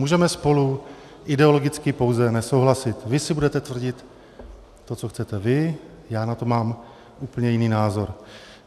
Můžeme spolu ideologicky pouze nesouhlasit, vy si budete tvrdit to, co chcete vy, já na to mám úplně jiný názor.